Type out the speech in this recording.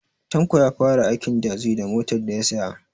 Tanko ya fara aikin tazi da motar daya saya